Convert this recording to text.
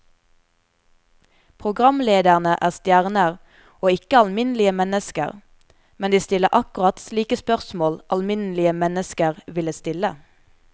Programlederne er stjerner og ikke alminnelige mennesker, men de stiller akkurat slike spørsmål alminnelige mennesker ville stille.